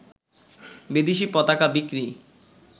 বিদেশী পতাকা বিক্রি